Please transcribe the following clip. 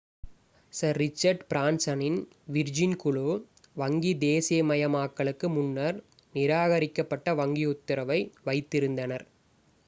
sir Richard பிரான்சனின் Virgin குழு வங்கி தேசீயமயமாக்களுக்கு முன்னர் நிராகரிக்கப்பட்ட வங்கி உத்தரவை வைத்திருந்தனர்